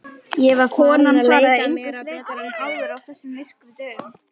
Konan svaraði engu frekar en áður á þessum myrku dögum.